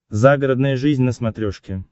загородная жизнь на смотрешке